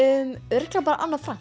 örugglega bara Anna